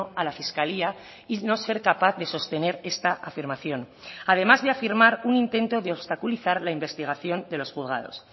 a la fiscalía y no ser capaz de sostener esta afirmación además de afirmar un intento de obstaculizar la investigación de los juzgados